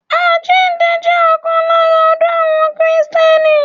Àjíǹde jẹ́ ọ̀kan lára ọdún àwọn kìtẹ́nì